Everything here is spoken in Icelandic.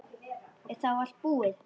Er þá allt búið?